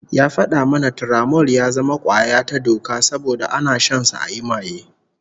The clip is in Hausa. Ya fada mana Turamol ya zama kwaya ta doka saboda ana shansa ayi maye